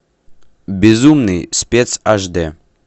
безумный спец аш д